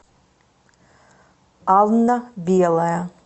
анна белая